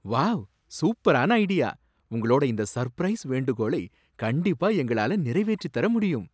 Wow, சூப்பரான idea! உங்களோட இந்த சர்ப்ரைஸ் வேண்டுகோளை கண்டிப்பா எங்களால நிறைவேற்றித் தர முடியும்